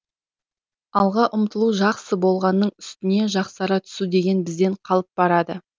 алға ұмтылу жақсы болғанның үстіне жақсара түсу деген бізден қалып барады